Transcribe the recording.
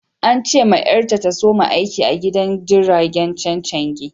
An ce ma yar ta, ta soma aiki a gidan jirigin chenchengi.